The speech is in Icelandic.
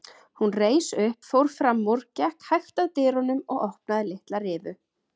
Hún reis upp, fór fram úr, gekk hægt að dyrunum og opnaði litla rifu.